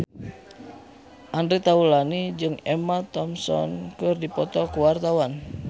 Andre Taulany jeung Emma Thompson keur dipoto ku wartawan